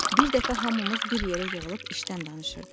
Bir dəfə hamımız bir yerə yığılıb işdən danışırdıq.